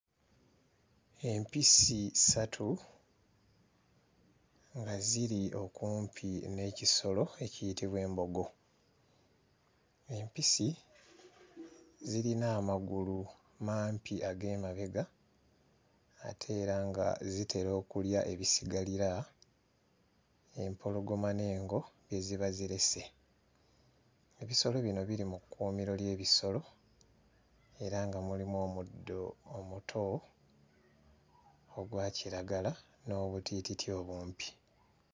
Empisi ssatu nga ziri okumpi n'ekisolo ekiyitibwa embogo. Empisi zirina amagulu mampi ag'emabega ate era nga zitera okulya ebisigalira, empologoma n'engo bye ziba zirese. Ebisolo bino biri mu kkuumiro ly'ebisolo era nga mulimu omuddo omuto ogwa kiragala n'obutiititi obumpi.